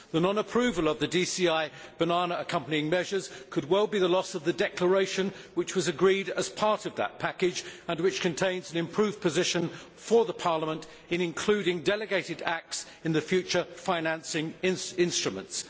The non approval of the DCI Banana Accompanying Measures could well mean the loss of the declaration which was agreed as part of that package and which contains an improved position for Parliament in including delegated acts in the future financing instruments.